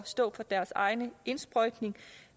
stå for deres egen indsprøjtning